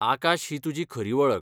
आकाश ही तुजी खरी वळख.